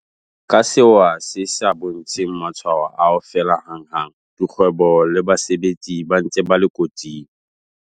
Ka sewa se sa bontsheng matshwao a ho fela hanghang, dikgwebo le basebetsi ba ntse ba le kotsing.